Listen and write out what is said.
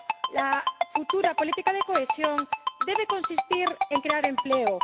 La futura política de cohesión debe consistir en crear empleo.